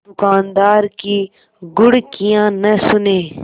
दुकानदार की घुड़कियाँ न सुने